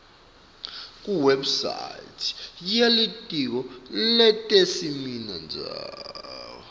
kuwebsite yelitiko letesimondzawo